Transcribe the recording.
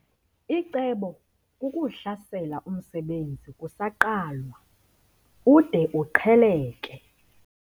Icebo kukuwuhlasela umsebenzi kusaqalwa ude uqheleke.